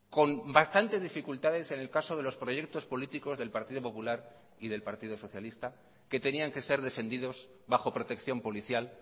con bastantes dificultades en el caso de los proyectos políticos del partido popular y del partido socialista que tenían que ser defendidos bajo protección policial